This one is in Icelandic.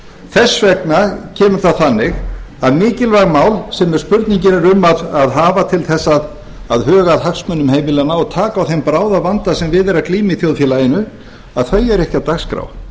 þess vegna kemur það þannig að mikilvæg mál sem spurningin er um að hafa til þess að huga að hagsmunum heimilanna og taka á þeim bráðavanda sem við er að glíma í þjóðfélaginu eru ekki á dagskrá